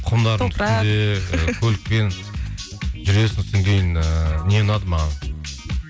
көлікпен жүресің содан кейін ыыы не ұнады маған